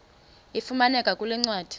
ifumaneka kule ncwadi